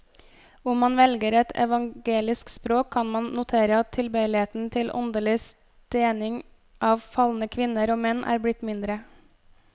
Om man velger et evangelisk språk, kan man notere at tilbøyeligheten til åndelig stening av falne kvinner og menn er blitt mindre.